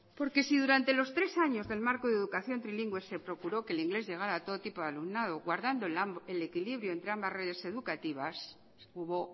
porque si durante los tres años del marco de educación trilingüe se procuró que el inglés llegara a todo tipo de alumnado guardando el equilibrio entre ambas redes educativas hubo